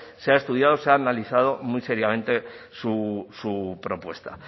se ha estudiado se ha analizado muy seriamente su propuesta